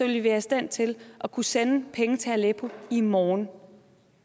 vi være i stand til at kunne sende penge til aleppo i morgen